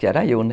Que era eu, né?